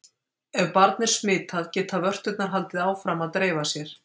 Ef barn er smitað geta vörturnar haldið áfram að dreifa sér.